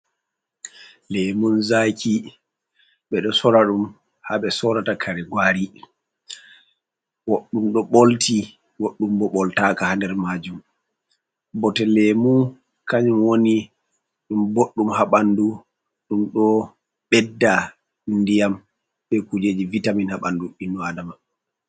Lemun zaki ɓeɗo sora ɗum ha ɓe sorata kare gwari, goɗɗum ɗo ɓolti, goɗɗum bo ɓoltaka ha nder majum, bote lemu kanyum woni ɗum boɗɗum ha bandui, ɗum ɗo beddat ndiyam be kujeji vitamin ha ɓanɗu innu adama.